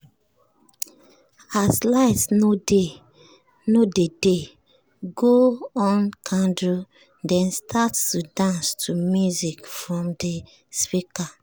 as light no dey dey go on candle den start to dance to music from de speaker.